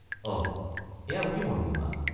অহ, এয়া অতি মনোমোহা!